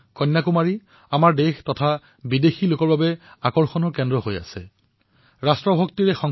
কন্যাকুমাৰী দেশ আৰু বিশ্বৰ বাবে আকৰ্ষণৰ কেন্দ্ৰস্থল হিচাপে বিবেচিত হৈ আহিছে